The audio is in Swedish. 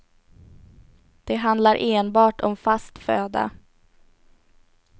Det handlar enbart om fast föda.